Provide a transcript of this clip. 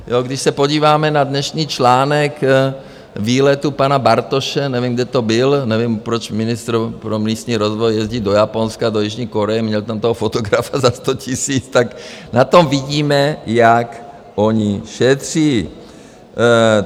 Když se podíváme na dnešní článek výletu pana Bartoše, nevím, kde to byl, nevím, proč ministr pro místní rozvoj jezdí do Japonska, do Jižní Koreje, měl tam toho fotografa za sto tisíc, tak na tom vidíme, jak oni šetří.